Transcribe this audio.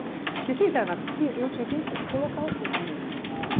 Porque se entrar na piscina, eu tinha que entrar colocar os cinco anões na piscina, né?